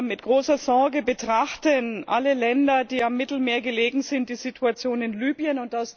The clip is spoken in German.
Mit großer Sorge betrachten alle Länder, die am Mittelmeer liegen, die Situation in Libyen.